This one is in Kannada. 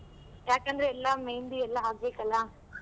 ಯಾಕಂದ್ರೆ ಇನ್ನ मेहंदी ಎಲ್ಲಾ ಆಗ್ಬೇಕಲ್ಲ.